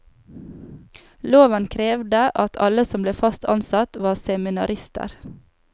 Loven krevde at alle som ble fast ansatt var seminarister.